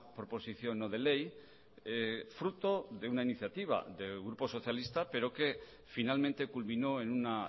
proposición no de ley fruto de una iniciativa del grupo socialista pero que finalmente culminó en una